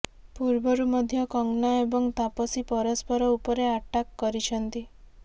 ପୂର୍ବରୁ ମଧ୍ୟ କଙ୍ଗନା ଏବଂ ତାପସୀ ପରସ୍ପର ଉପରେ ଆଟାକ୍ କରିଛନ୍ତି